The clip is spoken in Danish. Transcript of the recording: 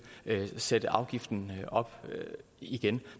sætte afgiften op igen